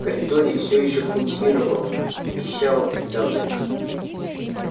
в коридоре всё ещё пульсировало пищало придавлено